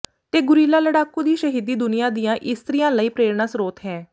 ਤੇ ਗੁਰੀਲਾ ਲੜਾਕੂ ਦੀ ਸ਼ਹੀਦੀ ਦੁਨੀਆਂ ਦੀਆਂ ਇਸਤਰੀਆਂ ਲਈ ਪ੍ਰੇਰਨਾਸਰੋਤ ਹੈ